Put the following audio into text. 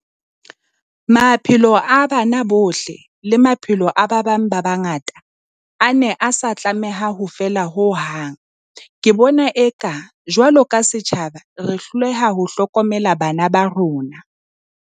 Maphelo a bana bohle, le maphelo a ba bang ba bangata, a ne a sa tlameha ho feela ho hang. Ke bona eka, jwalo ka se tjhaba, re hloleha ho hlokomela bana ba rona.